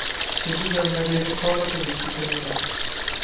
Det bedömer de lokala politikerna bäst.